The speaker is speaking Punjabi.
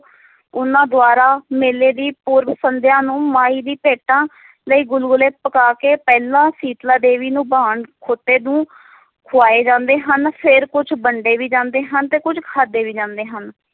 ਉਹਨਾਂ ਦੁਆਰਾ ਮੇਲੇ ਦੀ ਪੂਰਬ ਸੰਧਿਆ ਨੂੰ ਮਾਈ ਦੀ ਭੇਟਾ ਲਈ ਗੁਲਗੁਲੇ ਪਕਾ ਕੇ ਪਹਿਲਾਂ ਸੀਤਲਾ ਦੇਵੀ ਨੂੰ ਵਾਹਣ ਖੋਤੇ ਨੂੰ ਖਵਾਏ ਜਾਂਦੇ ਹਨ ਫਿਰ ਕੁਛ ਵੰਡੇ ਵੀ ਜਾਂਦੇ ਹਨ ਤੇ ਕੁੱਝ ਖਾਧੇ ਵੀ ਜਾਂਦੇ ਹਨ।